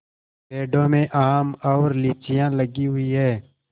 पेड़ों में आम और लीचियाँ लगी हुई हैं